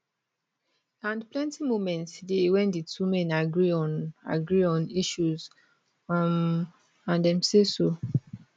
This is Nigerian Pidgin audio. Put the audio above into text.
and plenty moments dey wen di two men agree on agree on issues um and dem say so